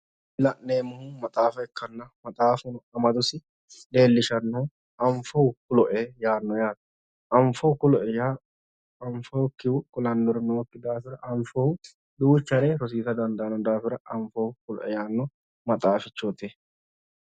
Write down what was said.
la'neemmohu maxaafa ikkanna maxaafuno madosinni leellishannnohu anfohu kulo"e anfohu kulo"e yaa anfokkihu kulannori nookki daafira anfohu duuchare rosiisa danadaann daafira anfohu kulo"e yaanno maxaafichooti